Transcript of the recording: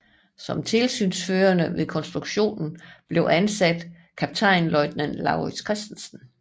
Som tilsynsførende ved konstruktionen blev ansat kaptajnløjtnant Laurits Christensen